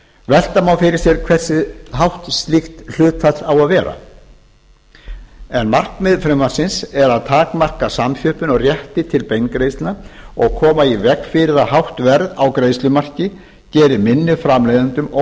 velta má fyrir sér hversu hátt slíkt hlutfall á að vera markmið frumvarpsins er að takmarka samþjöppun á rétti til beingreiðslna og koma í veg fyrir að hátt verð á greiðslumarki geri minni framleiðendum